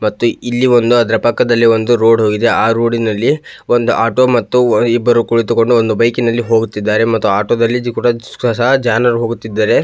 ಮತ್ತು ಇಲ್ಲಿ ಒಂದು ಅದರ ಪಕ್ಕದಲ್ಲಿ ಒಂದು ರೋಡ್ ಹೋಗಿದೆ ಆಹ್ಹ್ ರೋಡ್ ನಲ್ಲಿ ಒಂದು ಆಟೋ ಮತ್ತು ಇಬ್ಬರು ಕುಳಿತುಕೊಂಡು ಒಂದು ಬೈಕಿನಲ್ಲಿ ಹೋಗುತ್ತಿದ್ದಾರೆ ಮತ್ತು ಆಟೋ ದಲ್ಲಿಯೂ ಸಹ ಜನರು ಹೋಗುತ್ತಿದ್ದಾರೆ.